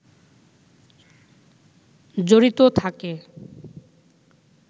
জড়িত থাকে